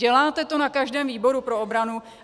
Děláte to na každém výboru pro obranu.